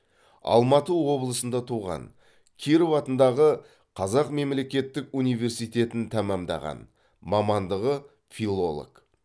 алматы облысында туған киров атындағы қазақ мемлекеттік университетін тәмамдаған мамандығы филолог